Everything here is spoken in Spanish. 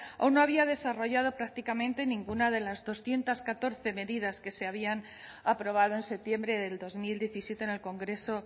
o no había desarrollado prácticamente ninguna de las doscientos catorce medidas que se habían aprobado en septiembre de dos mil diecisiete en el congreso